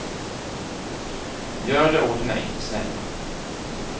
Gör det åt mig, snälla.